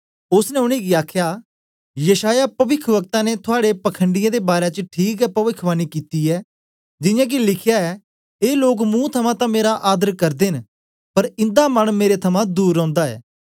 ओसने उनेंगी आखया यशायाह पविख्वकता ने थुआड़े पखंडीयें दे बारै च ठीक हे पविखवाणी कित्ती ऐ जियां के लिखया ऐ ए लोक मुंह थमां तां मेरा आदर करदे न पर इन्दा मन मेरे थमां दूर रौंदा ऐ